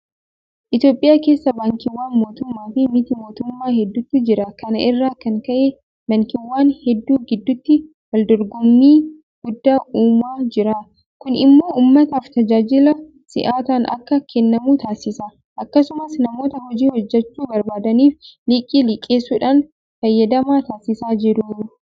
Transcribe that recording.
Itoophiyaa keessa Baankiiwwan mootummaafi miti mootummaa hedduutu jira. Kana irraa kan ka'e baankiiwwan hedduu gidduutti waldorgommii guddaa uumaa jira. Kun immoo uummataaf tajaajila si'ataan akka kennamu taasisa. Akkasumas namoota hojii hojjechuu barbaadaniif liqii liqeessuudhaan fayyadamaa taasisaa jiru.